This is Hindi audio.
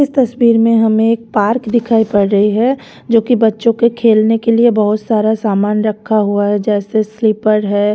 इस तस्वीर में हमें एक पार्क दिखाई पड़ रही है जो कि बच्चों के खेलने के लिए बहुत सारा सामान रखा हुआ है जैसे स्लीपर है।